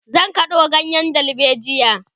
zan kado ganyen dalbejia